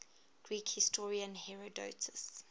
greek historian herodotus